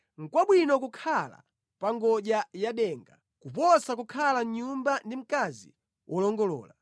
Nʼkwabwino kukhala pa ngodya ya denga kuposa kukhala mʼnyumba ndi mkazi wolongolola.